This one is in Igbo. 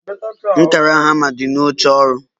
Nkàrà hama di na oche ọrụ